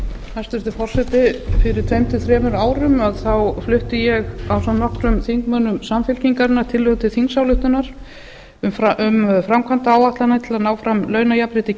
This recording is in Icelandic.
hæstvirtur forseti fyrir tveimur til þremur árum flutti ég ásamt nokkrum þingmönnum samfylkingarinnar tillögu til þingsályktunar um framkvæmdaáætlanir til að ná fram launajafnrétti